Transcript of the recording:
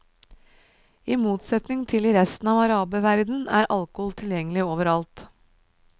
I motsetning til i resten av araberverdenen er alkohol tilgjengelig overalt.